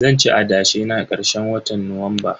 Zanci adashe na karshen watan Nuwamba.